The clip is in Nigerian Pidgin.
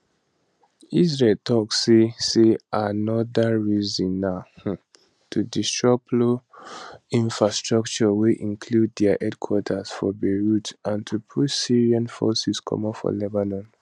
israel tok say say aanoda reason na um to destroy plo infrastructure wey include dia headquarters for beirut and to push syrian forces comot lebanon